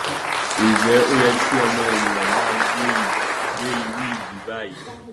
njẹ ó yẹ kí ọmọ ènìyàn máa gbé irú ìlú báyìí